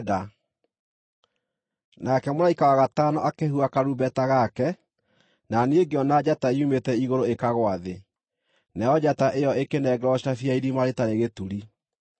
Nake mũraika wa gatano akĩhuha karumbeta gake, na niĩ ngĩona njata yumĩte igũrũ ĩkagũa thĩ. Nayo njata ĩyo ĩkĩnengerwo cabi ya Irima-rĩtarĩ-Gĩturi.